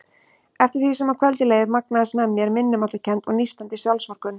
Eftir því sem á kvöldið leið magnaðist með mér minnimáttarkennd og nístandi sjálfsvorkunn.